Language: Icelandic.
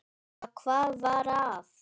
Já, hvað var að?